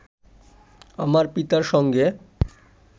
আমার পিতার সঙ্গে